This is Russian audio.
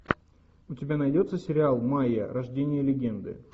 у тебя найдется сериал майя рождение легенды